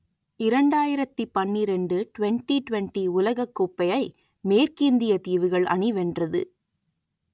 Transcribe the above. இரண்டாயிரத்தி பன்னிரண்டு twenty twenty உலகக்கோப்பையை மேற்கிந்தியத் தீவுகள் அணி வென்றது